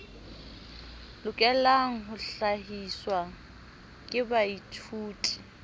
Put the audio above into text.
lokelang ho hlahiswa ke baithuti